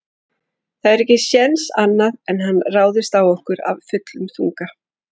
Það er ekki séns annað en hann ráðist á okkur af fullum þunga.